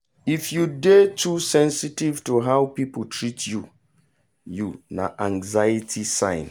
if you dey too sensitive to how people treat you you na anxiety sign.